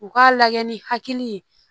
U k'a lajɛ ni hakili ye